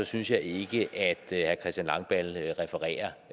synes jeg ikke at herre christian langballe refererer